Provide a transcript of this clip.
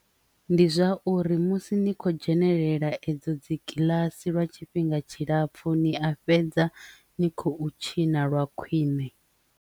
Ndi zwauri musi ni kho dzhenelela edzo dzi kiḽasi lwa tshifhinga tshilapfhu ni a fhedza ni khou tshina lwa khwiṋe.